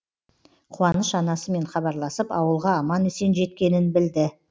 қуаныш анасымен хабарласып ауылға аман есен жеткенін білді